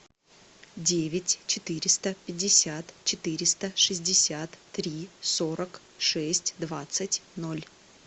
девять четыреста пятьдесят четыреста шестьдесят три сорок шесть двадцать ноль